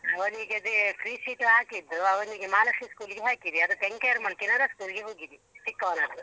ಅವನಿಗೆ ಅದೆ free seat ಗೆ ಹಾಕಿದ್ದು ಅವನಿಗೆ ಮಹಾಲಕ್ಷೀ school ಗೆ ಹಾಕಿದೆ ಆಗ ತೆಂಕೆಯರ್ ಕೆನರಾ school ಗೆ ಹಾಕಿದೆ ಚಿಕ್ಕವನದ್ದು.